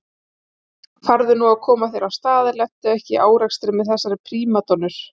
Farðu nú að koma þér af stað og lentu ekki í árekstri með þessar prímadonnur